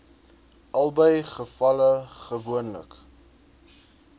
albei gevalle gewoonlik